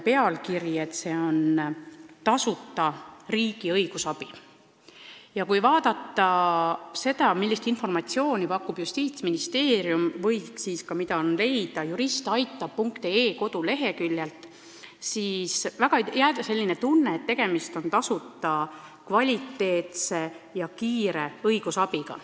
Teenuse nimetus on tasuta riigi õigusabi ja kui vaadata, millist informatsiooni pakub Justiitsministeerium või mida on leida juristaitab.ee koduleheküljelt, siis võib jääda mulje, et tegemist on tasuta kvaliteetse ja kiire õigusabiga.